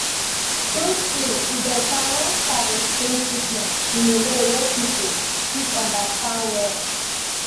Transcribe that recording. true true e better when staff explain treatment in way wey people fit understand well